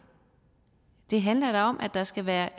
det handler da om at der skal være